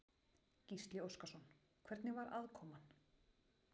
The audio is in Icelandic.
Gísli Óskarsson: Hvernig var aðkoman?